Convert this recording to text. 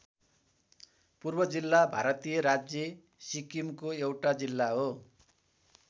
पूर्व जिल्ला भारतीय राज्य सिक्किमको एउटा जिल्ला हो।